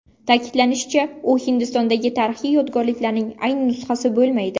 Ta’kidlanishicha, u Hindistondagi tarixiy yodgorlikning ayni nusxasi bo‘lmaydi.